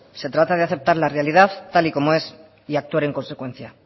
se trata de aceptar la realidad tal y como es y actuar en consecuencia